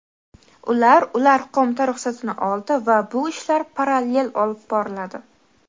Ular Ular qo‘mita ruxsatini oldi va bu ishlar parallel olib boriladi.